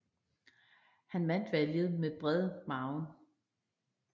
Han vandt valget med bred margin